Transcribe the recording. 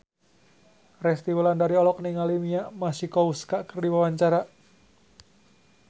Resty Wulandari olohok ningali Mia Masikowska keur diwawancara